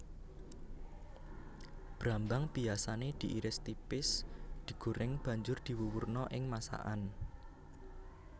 Brambang biyasané diiris tipis digoreng banjur diwuwurna ing masakan